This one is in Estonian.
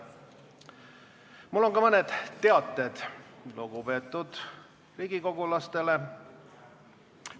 Mul on ka mõned teated lugupeetud riigikogulastele.